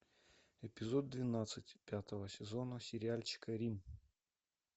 эпизод двенадцать пятого сезона сериальчика рим